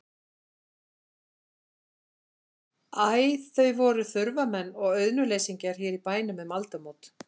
Æ, þau voru þurfamenn og auðnuleysingjar hér í bænum um aldamót.